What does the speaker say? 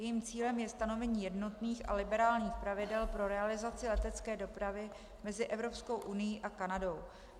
Jejím cílem je stanovení jednotných a liberálních pravidel pro realizaci letecké dopravy mezi Evropskou unií a Kanadou.